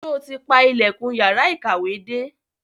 Sọ ti pa ilẹ̀kùn yàrá ìkàwé dé?